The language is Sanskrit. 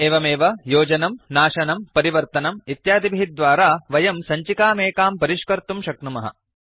एवमेव योजनं नाशनं परिवर्तनं इत्यादिभिः द्वारा वयं सञ्चिकामेकां परिष्कर्तुं शक्नुमः